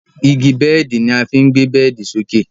Igi bẹ́ẹ̀di ni a fí ń gbé bẹ́ẹ̀di sókè.